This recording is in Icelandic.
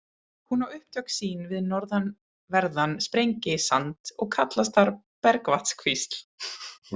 Hún á upptök sín við norðanverðan Sprengisand og kallast þar Bergvatnskvísl.